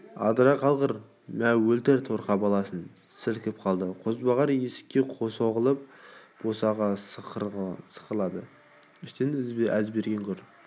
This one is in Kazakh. адыра қалғыр мә өлтір торқа баласын сілкіп қалды қозбағар есікке соғылып босаға сықырлады іштен әзберген гүр